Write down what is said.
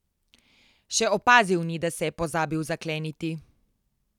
Še opazil ni, da se je pozabil zakleniti.